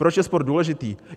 Proč je sport důležitý?